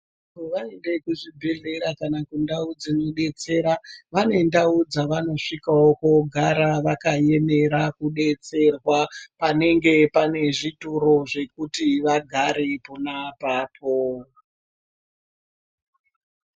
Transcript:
Vaende kuzvibhedhlera kana kundau dzinodetsera vane ndau dzavaNosvikawo kogara vakaemera kudetserwa panenge pane zvituro zvekuti vagare pona apapo.